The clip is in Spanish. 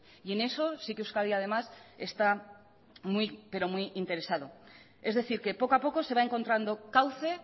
y en eso sí que euskadi además está muy pero muy interesado es decir que poco a poco se va encontrando cauce